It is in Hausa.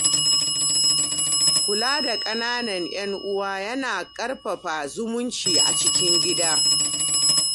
Kula da ƙananan 'yan uwa yana ƙarfafa zumunci a cikin gida.